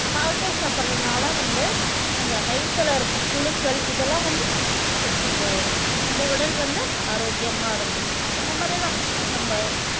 பாகற்காய் சாப்பிடுறதுனால வந்து அந்த வயித்துல இருக்க புழுக்கள் இதெல்லாம் வந்து செத்துப் போயிரும் நம்ம உடல் வந்து ஆரோக்கியமா இருக்கும் இந்த மாதிரிதான் நம்ம